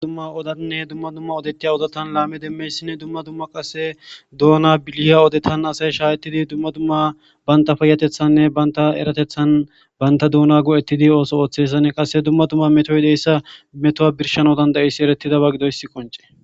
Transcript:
Dumma dumma oddane dumma dumma oddettiya oddan laame demiyayssi dumma dumma doona billaya oddettan qasse asay shaccidi dumma dumma bantta payateththane bantta erratehthan bantta duuna go'eti oththo oththiyayssane qasse dumma dumma mettoy dizayssa meeto birshshanawu dandiyaysi erettidaba giidoyssi qoncce.